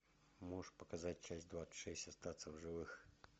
можешь показать часть двадцать шесть остаться в живых